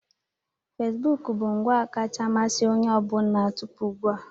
Fesibuku bụ ngwa kacha amasị onye ọ bụla tupu ugbua.